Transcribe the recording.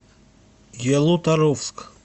ялуторовск